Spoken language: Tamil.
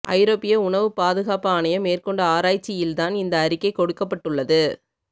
ஐரோப்பிய உணவு பாதுகாப்பு ஆணையம் மேற்கொண்ட ஆராய்ச்சியில் தான் இந்த அறிக்கை கொடுக்கப்பட்டு உள்ளது